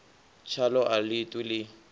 tshaḽo a ḽi ṱwi ḽi